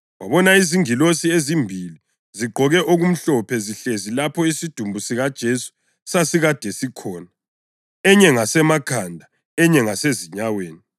wabona izingilosi ezimbili zigqoke okumhlophe zihlezi lapho isidumbu sikaJesu sasikade sikhona, enye ngasemakhanda, enye ngasezinyaweni.